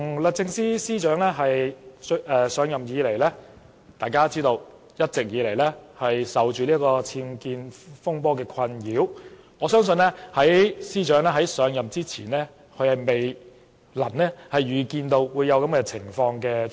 律政司司長自上任以來，一直備受僭建風波的困擾，我相信這是司長在上任前未能預見的情況。